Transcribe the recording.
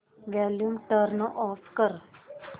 volume turn off कर